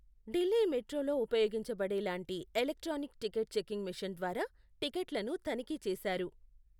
ఢిల్లీ మెట్రోలో ఉపయోగించబడే లాంటి ఎలక్ట్రానిక్ టికెట్ చెకింగ్ మెషిన్ ద్వారా టిక్కెట్లను తనిఖీ చేశారు.